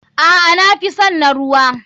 Aa nafison na ruwa.